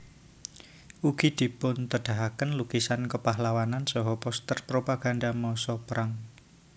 Ugi dipuntedahaken lukisan kapahlawanan saha poster propaganda masa prang